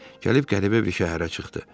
Gəlib qəribə bir şəhərə çıxdı.